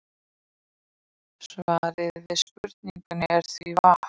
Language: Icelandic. Svarið við spurningunni er því vatn.